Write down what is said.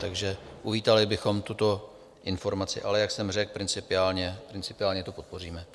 Takže uvítali bychom tuto informaci, ale jak jsem řekl, principiálně to podpoříme.